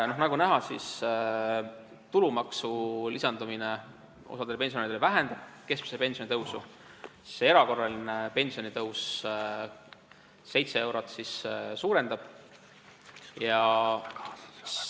Nagu näha, siis tulumaksu lisandumine osale pensionäridele vähendab keskmise pensioni tõusu, erakorraline pensionitõus aga suurendab seda 7 euro võrra.